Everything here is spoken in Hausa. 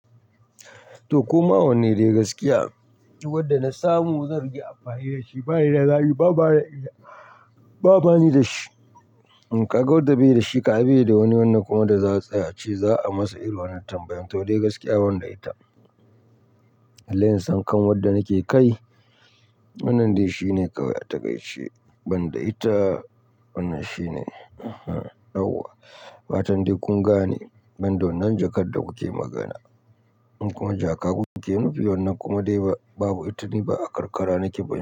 To koma wanne dai gaskiya, wanda na samu zan riƙa amfani da shi. Ba ni da zabi, ba bani da shi. Ka ga wadda bai da shi kam ai bai da wani wannan kuma da za a tsaya a ce za a masa irin wannan tambayan to dai gaskiya banda ita. Balle in san kan wadda nake kai wannan dai shine kawai a taƙaici. Wanda ita wannan shine, yauwa. Fatan dai kun gane, banda wannan jakar da kuke magana. Kuma jaka kuke nufi wannan kuma dai babu ita ni ba a karkara nake ba.